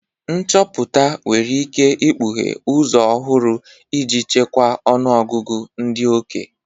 Nchọpụta nwere ike ikpughe ụzọ ọhụrụ iji chịkwaa ọnụ ọgụgụ ndị oke.